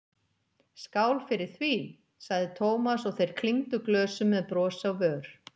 Skál fyrir því! sagði Thomas og þeir klingdu glösum með bros á vör.